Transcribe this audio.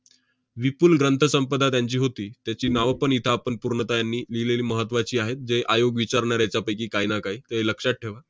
विपुल ग्रंथसंपदा त्यांची होती. त्याची नावं पण इथं आपण पूर्णतः यांनी लिहिलेली महत्त्वाची आहेत, जे आयोग विचारणार आहेत त्यापैकी काही ना काही. ते लक्षात ठेवा.